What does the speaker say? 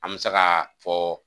An mɛ se ka fɔ